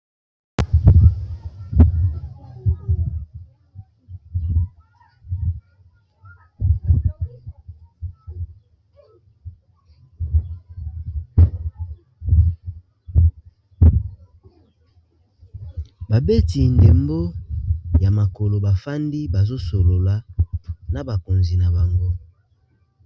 Babeti ndembo ya makolo bafandi bazo solola na bakonzi na bango.